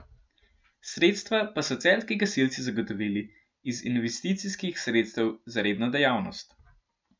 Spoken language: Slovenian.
Sredstva pa so celjski gasilci zagotovili iz investicijskih sredstev za redno dejavnost.